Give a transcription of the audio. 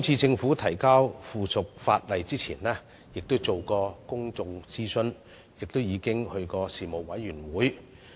政府在提交相關附屬法例前亦曾諮詢公眾，並在事務委員會會議上討論。